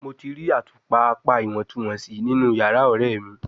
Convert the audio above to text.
Mo ti ri atupa apa iwọntunwọnsi ninu yara ọrẹ mi